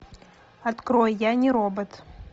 открой я не робот